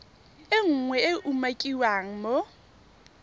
nngwe e e umakiwang mo